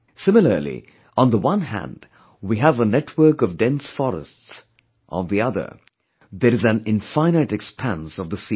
Similarly on the one hand we have a network of dense forests, on the other, there is an infinite expanse of the sea